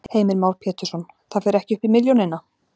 Heimir Már Pétursson: Það fer ekki upp í milljónina?